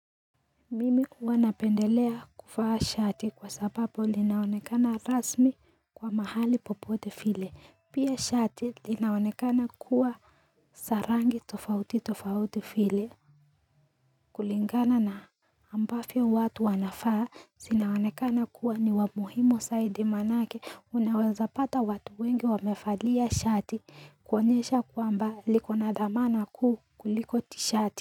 Mimi huwanapendelea kuvaa shati kwa sababu linaonekana rasmi kwa mahali popote vile pia shati linaonekana kuwa za rangi tofauti tofauti vile kulingana na ambavyo watu wanafaa zinaonekana kuwa ni wamuhimu zaidi manake unaweza pata watu wengi wamevalia shati kuonyesha kwamba liko na dhamana ku kuliko tishati.